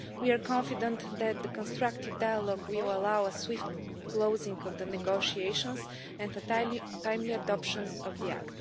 We are confident that the constructive dialogue will allow a swift closing of the negotiations and the timely adoption of the act.